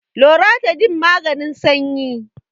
loratadine maganin sanyi